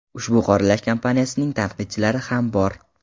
Ushbu qoralash kampaniyasining tanqidchilari ham bor.